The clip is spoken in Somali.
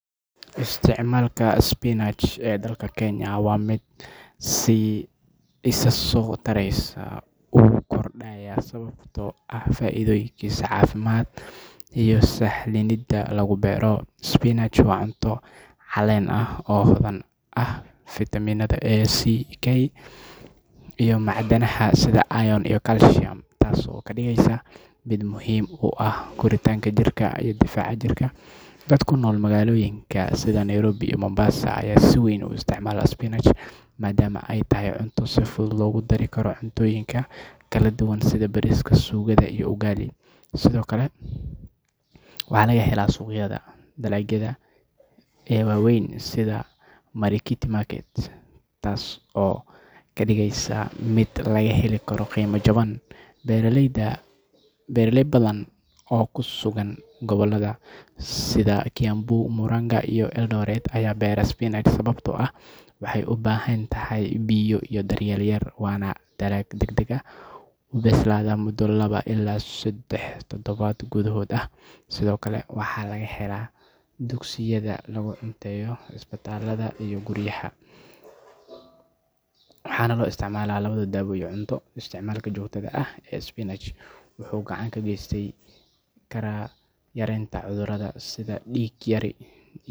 Isticmaalka spinach ee dalka Kenya waa mid si isa soo taraysa u kordhaya sababtoo ah faa’iidooyinkiisa caafimaad iyo sahlanida lagu beero. Spinach waa cunto caleen ah oo hodan ku ah fiitamiinada A, C, K iyo macdanaha sida iron iyo calcium, taasoo ka dhigaysa mid muhiim u ah korriinka jirka iyo difaaca jirka. Dadka ku nool magaalooyinka sida Nairobi iyo Mombasa ayaa si weyn u isticmaala spinach maadaama ay tahay cunto si fudud loogu daro cuntooyin kala duwan sida bariiska, suugada iyo ugali. Sidoo kale waxaa laga helaa suuqyada dalagyada ee waaweyn sida Marikiti market, taas oo ka dhigaysa mid laga heli karo qiimo jaban. Beeraley badan oo ku sugan gobollada sida Kiambu, Murang’a iyo Eldoret ayaa beera spinach sababtoo ah waxay u baahan tahay biyo iyo daryeel yar, waana dalag degdeg u bislaada muddo laba ilaa saddex toddobaad gudahood ah. Sidoo kale waxaa laga helaa dugsiyada lagu cunteeyo, isbitaallada, iyo guryaha, waxaana loo isticmaalaa labadaba daawo iyo cunto. Isticmaalka joogtada ah ee spinach wuxuu gacan ka geysan karaa yareynta cudurrada sida dhiig yari.